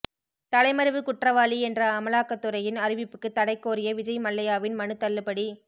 தலைமறைவு குற்றவாளி என்ற அமலாக்கத்துறையின் அறிவிப்புக்கு தடைகோரிய விஜய் மல்லையாவின் மனு தள்ளுபடி